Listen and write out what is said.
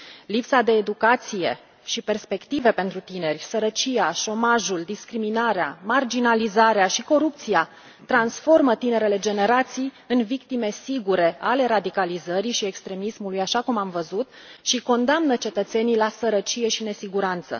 Lipsa de educație și perspective pentru tineri, sărăcia, șomajul, discriminarea, marginalizarea și corupția transformă tinerele generații în victime sigure ale radicalizării și extremismului, așa cum am văzut, și condamnă cetățenii la sărăcie și nesiguranță.